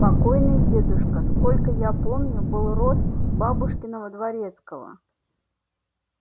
покойный дедушка сколько я помню был род бабушкиного дворецкого